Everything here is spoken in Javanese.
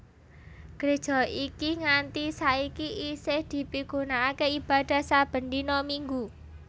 Gréja iki nganti saiki isih dipigunakaké ibadah saben dina Minggu